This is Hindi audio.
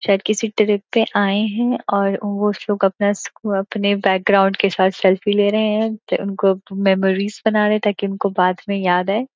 शायद किसी ट्रिप पे आए हैं और वो लोग अपना अपने बैकग्राउंड के साथ सेल्फी ले रहे हैं उनको मेमोरीज बना रहे हैं ताकि उनको बाद में याद आए --